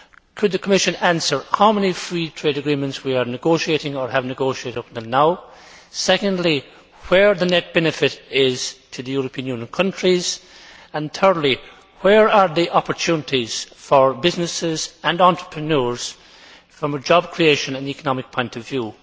Could the Commission answer how many free trade agreements we are negotiating or have negotiated up to now? Secondly, where is the net benefit to the European Union countries? Thirdly, where are the opportunities for businesses and entrepreneurs from a job creation and economic point of view?